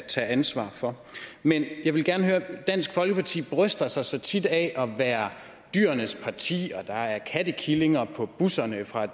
tage ansvaret for men dansk folkeparti bryster sig så tit af at være dyrenes parti der er kattekillinger på bussernes